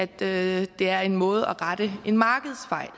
det er en måde til at rette en markedsfejl